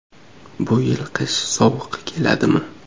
Bu yil qish sovuq keladimi?